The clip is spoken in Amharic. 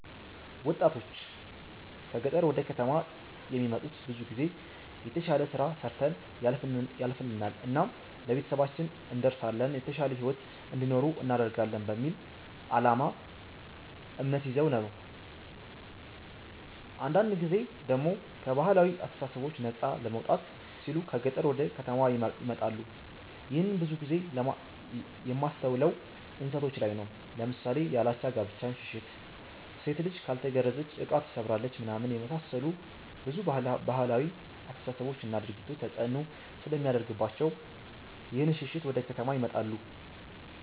ወጣቶች ከ ገጠር ወደ ከተማ የሚመጡት ብዙ ጊዜ የተሽለ ስራ ሰርተን ያልፍልናል እናም ለቤተሰባችን እንደርሳለን የተሻለ ሂዎት እንዲኖሩ እናደርጋለን በሚል አላማ እምነት ይዘው ነው ነው። አንዳንድ ጊዜ ደሞ ከ ባህላዊ አስተሳሰቦች ነፃ ለመውጣት ሲሉ ከ ገጠር ወደ ከተማ ይመጣሉ ይህንን ብዙ ጊዜ የማስተውለው እንስቶች ላይ ነው ለምሳሌ ያላቻ ጋብቻን ሽሽት፣ ሴት ልጅ ካልተገረዘች እቃ ትሰብራለች ምናምን የመሳሰሉ ብዙ ባህላዊ አስተሳሰቦች እና ድርጊቶች ተፅእኖ ስለሚያደርግባቸው ይህንን ሽሽት ወደ ከተማ ይመጣሉ።